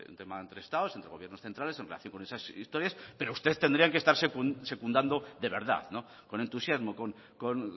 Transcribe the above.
tema entre estados entre gobiernos centrales en relación con esas historias pero ustedes tendrían que están secundando de verdad con entusiasmo con